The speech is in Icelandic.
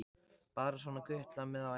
Bara svona gutlað með á æfingum.